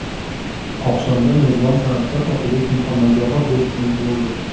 Oqshomda mezbon san’atkor Otabek Muhammadzohid do‘stimiz bo‘ldi.